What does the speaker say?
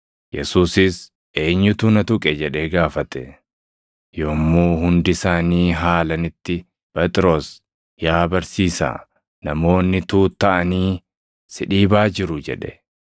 Yesuusis, “Eenyutu na tuqe?” jedhee gaafate. Yommuu hundi isaanii haalanitti Phexros, “Yaa barsiisaa namoonni tuuttaʼanii si dhiibaa jiru” jedhe.